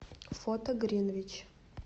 фото гринвич